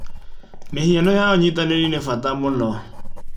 Mĩhiano ya ũynitanĩri nĩ bata mũno.